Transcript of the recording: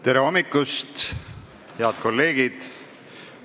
Tere hommikust, head kolleegid!